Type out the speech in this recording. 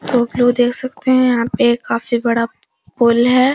तो आप लोग देख सकते हैं यहाँ पे काफी बड़ा पूल है।